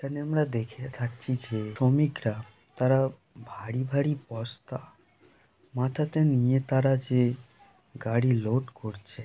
এখানে আমরা দেখে থাকছি যে শ্রমিকরা তারা ভারী ভারী বস্তা মাথাতে নিয়ে তারা যে গাড়ি লোড করছে।